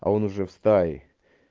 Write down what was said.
а он уже в стае